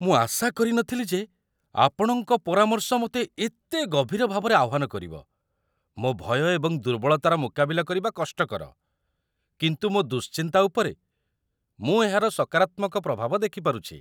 ମୁଁ ଆଶା କରିନଥିଲି ଯେ ଆପଣଙ୍କ ପରାମର୍ଶ ମୋତେ ଏତେ ଗଭୀର ଭାବରେ ଆହ୍ୱାନ କରିବ! ମୋ ଭୟ ଏବଂ ଦୁର୍ବଳତାର ମୁକାବିଲା କରିବା କଷ୍ଟକର, କିନ୍ତୁ ମୋ ଦୁଶ୍ଚିନ୍ତା ଉପରେ ମୁଁ ଏହାର ସକାରାତ୍ମକ ପ୍ରଭାବ ଦେଖିପାରୁଛି।